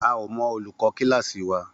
A ò mo olùkó kíláàsì wa